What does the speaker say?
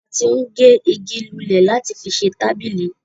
a ti ń gé igi lulẹ̀ láti fi ṣe tábìlì.